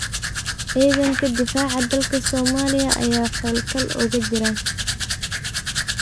Cidanka difaca dalka Somalia aya xol kal ookajiran.